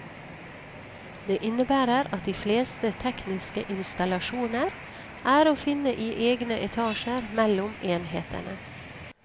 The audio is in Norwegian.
Det innebærer at de fleste tekniske installasjoner er å finne i egne etasjer mellom enhetene.